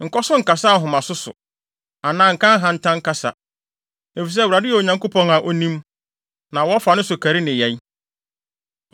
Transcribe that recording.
“Nkɔ so nkasa ahomaso so anaa nka ahantan kasa, efisɛ Awurade yɛ Onyankopɔn a onim, na wɔfa ne so kari nneyɛe.